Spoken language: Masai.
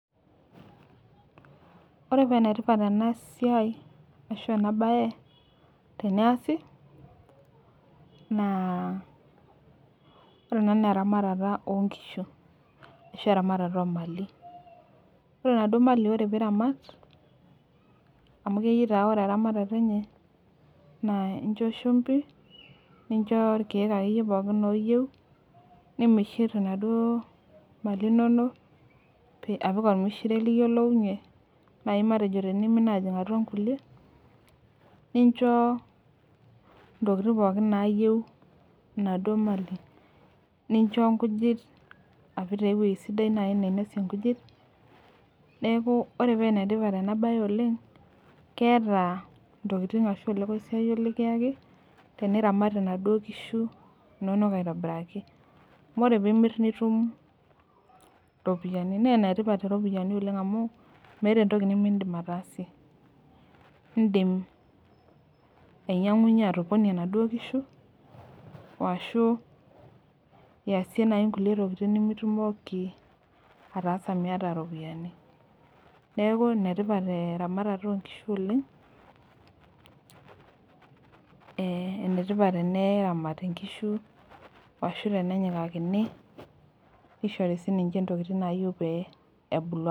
Ore paa ene tipat ena siai ashu ena bae, teneyasi naa ore ena naa eramatata oo nkishu ashu oo mali. ore inaduoo mali ore pee iramat. amu keyieu taa ore eramatata enye incho shumpi, nincho irkeek akeyie pookin ooyieu. nimishir inaduoo mali inonok, apik olmishire liyiolounye naaji tenimin matejo aapik atua nkulie, nincho ntokitin pookin naayieu inaduoo mali. nincho nkujit, apik taa ewueji sidai naaji nainosie nkujit. neekh ore paa ene tipat ena bae oleng keeta intokitin ashu ole koisiaayio likiaki. teniramat inaduoo kishu inonok aitobiraki. amu ore pee imir nitum iropiyiani .naa ine tipat iropiyiani oleng amu meeta entoki nimidim ataasie. idim ainyiangunye, atoponie inaduoo kishu, ashu iyasie naaji nkulie tokitin nimitumoki, ataasa Miata iropiyiani. neeku enetipat eramatata oo nkishu oleng.ee enetipat teneramati nkishu ashu tenenyakikakini nishori sii. ninche ntokitin nayieu peyie ebulu asioki.